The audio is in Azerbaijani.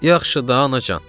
Yaxşı da, anacan.